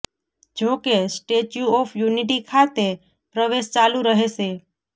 જો કે Statue of Unity ખાતે પ્રવેશ ચાલુ રહેશે